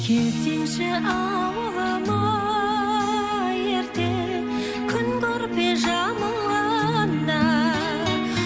келсеңші ауылыма ерте күн көрпе жамылғанда